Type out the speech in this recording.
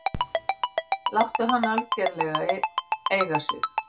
Láttu hann algjörlega eiga sig.